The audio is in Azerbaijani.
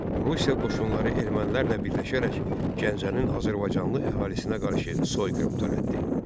Rusiya qoşunları ermənilərlə birləşərək Gəncənin azərbaycanlı əhalisinə qarşı soyqırım törətdi.